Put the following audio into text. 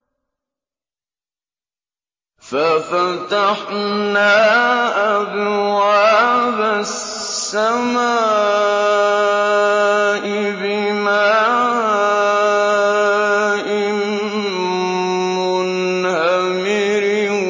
فَفَتَحْنَا أَبْوَابَ السَّمَاءِ بِمَاءٍ مُّنْهَمِرٍ